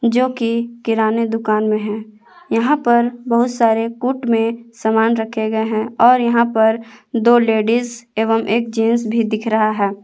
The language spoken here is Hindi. जो की किराने दुकान में हैं यहां पर बहुत सारे कूट में सामान रखे गए हैं और यहां पर दो लेडिस एवं एक जेंट्स भी दिख रहा है।